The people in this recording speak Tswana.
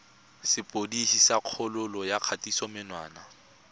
sepodisi sa kgololo ya kgatisomenwa